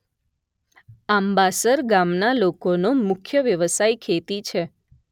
આંબાસર ગામના લોકોનો મુખ્ય વ્યવસાય ખેતી છે